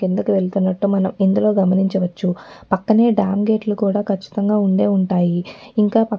కిందకి వెళ్తున్నటు మనం ఇందులో గమనించవచ్చు పక్కనే డ్యాం గేట్ లు కూడా కచ్చితంగా ఉండేవుంటాయి ఇంకా పక్ --